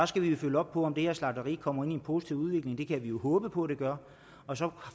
skal vi følge op på om det her slagteri kommer ind i en positiv udvikling det kan vi jo håbe på det gør og så